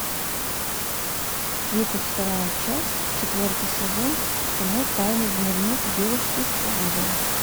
тридцать вторая часть четвертый сезон кино тайный дневник девушки по вызову